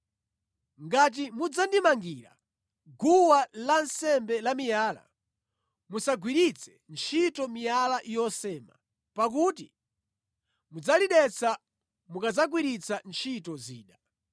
Ngati mudzandimangira guwa lansembe lamiyala, musagwiritse ntchito miyala yosema, pakuti mudzalidetsa mukadzagwiritsa ntchito zida.